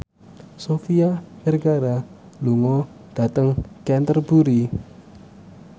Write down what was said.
Sofia Vergara lunga dhateng Canterbury